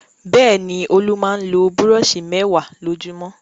Bẹ́ẹ̀ ni, Olú máa ń lo búrọ́ṣì mẹ́wàá lójúmọ́.